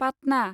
Patna